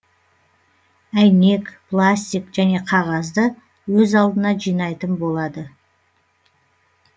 әйнек пластик және қағазды өз алдына жинайтын болады